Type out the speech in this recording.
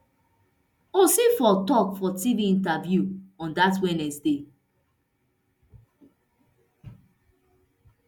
usifo tok for tv interview on dat wednesday